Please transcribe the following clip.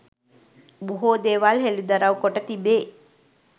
බොහෝ දේවල් හෙළිදරව් කොට තිබේ